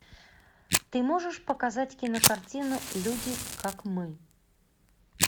ты можешь показать кинокартину люди как мы